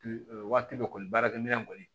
Waati dɔ kɔni baarakɛminɛ kɔni